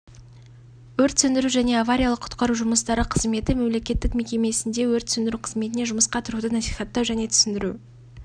өрт сөндіру және авариялық-құтқару жұмыстары қызметі мемлекеттік мекемесінде өрт сөндіру қызметіне жұмысқа тұруды насихаттау және түсіндіру